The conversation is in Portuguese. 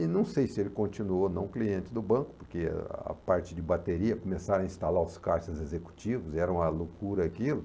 E não sei se ele continuou não cliente do banco, porque a parte de bateria, começaram a instalar os caixas executivos, era uma loucura aquilo.